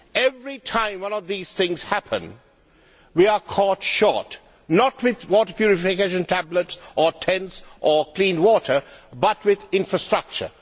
Every time one of these things happens, we are caught short, not with water purification tablets or tents or clean water but with infrastructure.